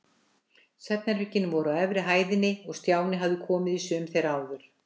Svefnherbergin voru á efri hæðinni og Stjáni hafði komið í sum þeirra áður.